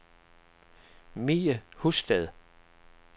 Mie Husted